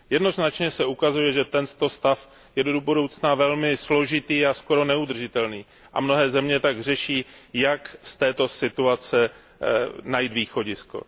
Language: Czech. Jednoznačně se ukazuje, že tento stav je do budoucna velmi složitý a skoro neudržitelný, a mnohé země tak řeší, jak z této situace najít východisko.